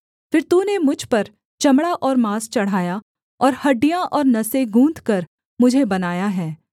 फिर तूने मुझ पर चमड़ा और माँस चढ़ाया और हड्डियाँ और नसें गूँथकर मुझे बनाया है